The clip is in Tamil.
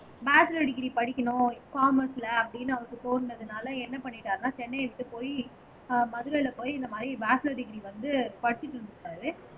மாஸ்டர் டிகிரி படிக்கணும் காமர்ஸ்ல அப்படின்னு அவருக்கு தோணுனதுனால என்ன பண்ணிட்டாருன்னா சென்னையை விட்டு போயி ஆஹ் மதுரையில போய் இந்த மாதிரி மாஸ்டர் டிகிரி வந்து படிச்சுட்டு இருந்தாரு